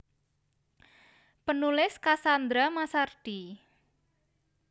Penulis Cassandra Massardi